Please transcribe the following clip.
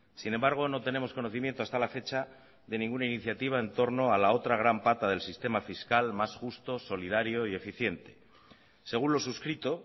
sin embargo no tenemos conocimiento hasta la fecha de ninguna iniciativa en torno a la otra gran pata del sistema fiscal más justo solidario y eficiente según lo suscrito